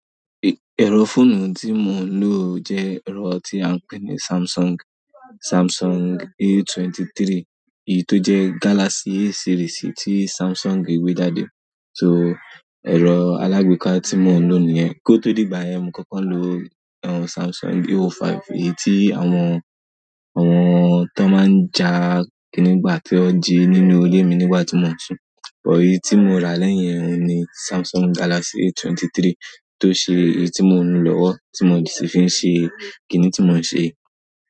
Ẹ̀rọ fóònù tí mo ń lò jẹ́ ẹ̀rọ tí a ń pè ní Samsung, Samsung A23, èyí tó jẹ́ Galaxy series tí Samsung gbé jáde. So, ẹ̀rọ alágbèéká tí mo ń lò ní yẹ. Ki o to dìgbà yẹ́ mo kọ́kọ́ nlo Samsung A05 èyíí ti àwọn, àwọn ton maa nja kini gbà ton ji nínú ile mi nígbà ti mo n sun. Òyi tí mo rà lẹ́yìn rẹ̀ ni Samsung Galaxy A23 tó ṣe èyí tí mo ń lò lọ́wọ́, tí mo sì fi ń ṣe kiní tí mo ń se.